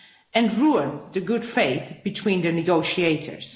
and ruined the good faith between the negotiators.